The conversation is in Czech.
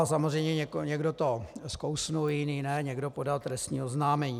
A samozřejmě někdo to skousl, jiný ne, někdo podal trestní oznámení.